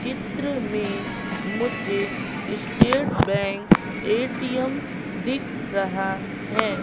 चित्र में मुझे स्टेट बैंक ए_टी_एम दिख रहा है।